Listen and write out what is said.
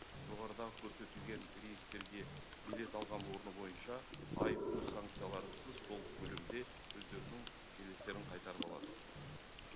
жоғарыдағы көрсетілген рейстерге билет алған орны бойынша айыппұл санкцияларынсыз толық көлемде өздерінің билеттерін қайтарып алады